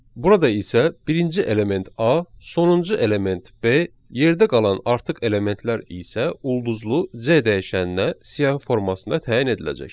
Burada isə birinci element A, sonuncu element B, yerdə qalan artıq elementlər isə ulduzlu C dəyişəninə siyahı formasında təyin ediləcək.